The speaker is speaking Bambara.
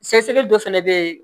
Sɛgɛsɛgɛli dɔ fana bɛ yen